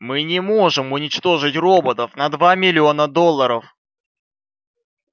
мы не можем уничтожить роботов на два миллиона долларов